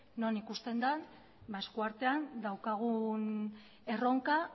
non ikusten den esku artean daukagun erronka